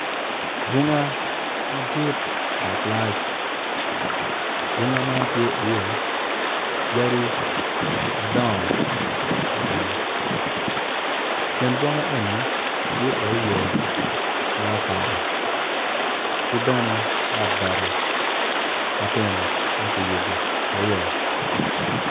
Bunga madit dok malac bunga man tye iye yadi madongo mada kin bunga eni tye iye yo ma okato ki bene ot bati matino ma kiyubo aryo.